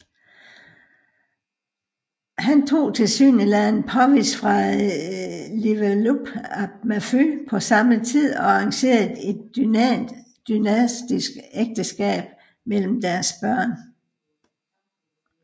Han tog tilsyneladende Powys fra Llywelyn ap Merfyn på samme tid og arrangerede et dynastisk ægteskab mellem deres børn